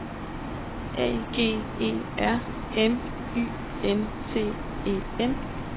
A G E R M Y N T E N